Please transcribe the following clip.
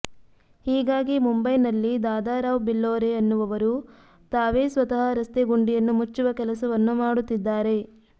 ಹೀಗಾಗಿ ಮುಂಬೈನಲ್ಲಿ ದಾದಾರಾವ್ ಬಿಲ್ಹೋರೆ ಎನ್ನುವವರು ತಾವೇ ಸ್ವತಃ ರಸ್ತೆ ಗುಂಡಿಯನ್ನು ಮುಚ್ಚುವ ಕೆಲಸವನ್ನು ಮಾಡುತ್ತಿದ್ದಾರೆ